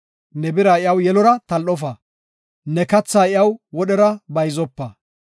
Ne bira iyaw yelora tal7ofa; ne kathaa iyaw wodhera bayzopa.